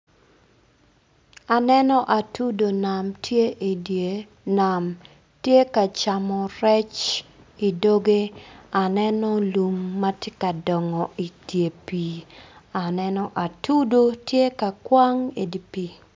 Aneno atudu nam tye idye nam tye ka camo rec idoge aneno lum ma tye ka dongo idye pii aneno atudu tye ka kwang idye pii.